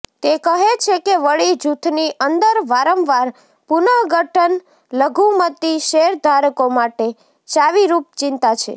તે કહે છે કે વળી જૂથની અંદર વારંવાર પુનઃગઠન લઘુમતી શેરધારકો માટે ચાવીરૂપ ચિંતા છે